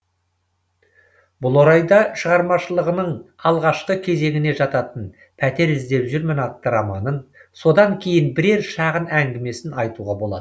бұл орайда шығармашылығының алғашқы кезеңіне жататын пәтер іздеп жүрмін атты романын содан кейін бірер шағын әңгімесін айтуға болады